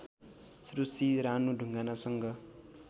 Sushri Ranu ढुङ्गानासँग